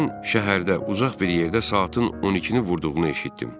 Mən şəhərdə uzaq bir yerdə saatın 12-ni vurduğunu eşitdim.